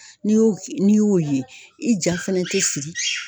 N'i y'o n'i y'o ye i ja fɛnɛ tɛ sigi.